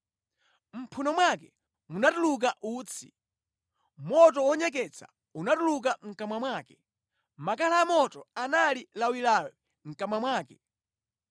Mʼmphuno mwake munatuluka utsi; moto wonyeketsa unatuluka mʼkamwa mwake, makala amoto anali lawilawi mʼkamwa mwake.